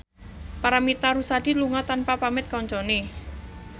Paramitha Rusady lunga tanpa pamit kancane